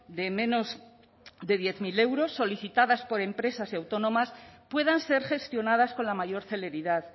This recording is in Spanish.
de menos de diez mil euros solicitadas por empresas autónomas puedan ser gestionadas con la mayor celeridad